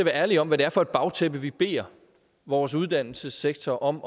ærlige om hvad det er for et bagtæppe vi beder vores uddannelsessektor om